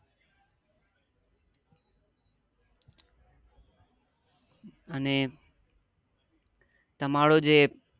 અને તમારો જે